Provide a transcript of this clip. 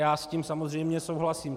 Já s tím samozřejmě souhlasím.